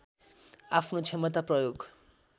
आफ्नो क्षमता प्रयोग